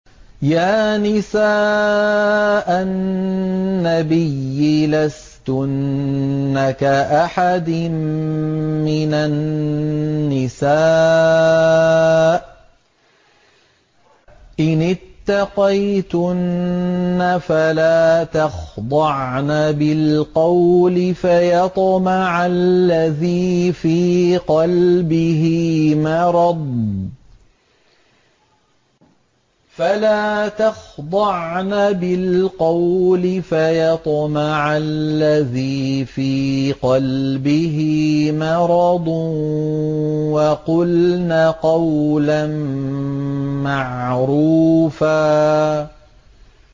يَا نِسَاءَ النَّبِيِّ لَسْتُنَّ كَأَحَدٍ مِّنَ النِّسَاءِ ۚ إِنِ اتَّقَيْتُنَّ فَلَا تَخْضَعْنَ بِالْقَوْلِ فَيَطْمَعَ الَّذِي فِي قَلْبِهِ مَرَضٌ وَقُلْنَ قَوْلًا مَّعْرُوفًا